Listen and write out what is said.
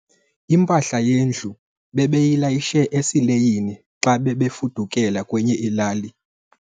Impahla yendlu bebeyilayishe esileyini xa bebefudukela kwenye ilali.